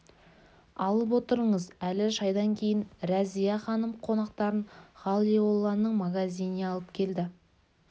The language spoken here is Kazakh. алып отырыңыз әлі шайдан кейін рәзия-ханым қонақтарын ғалиолланың магазиніне алып келді